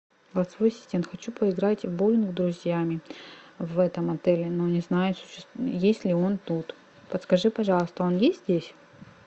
голосовой ассистент хочу поиграть в боулинг с друзьями в этом отеле но не знаю есть ли он тут подскажи пожалуйста он есть здесь